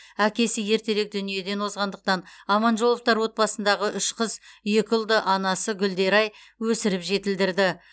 әкесі ертерек дүниеден озғандықтан аманжоловтар отбасындағы үш қыз екі ұлды анасы гүлдерай өсіріп жетілдірді